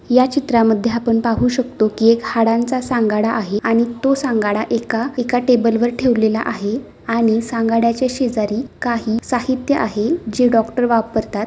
या चित्रा मध्ये आपण पाहू शकतो कि एक हाडांचा सांगाडा आहे आणि तो सांगाडा एका एका टेबल वर ठेवला आहे आणि सांगाड्या च्या शेजारी काही साहित्य आहे जे डॉक्टर वापरतात.